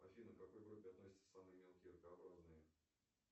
афина к какой группе относятся самые мелкие ракообразные